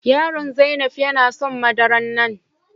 yaro Zainab yana son madaran nan.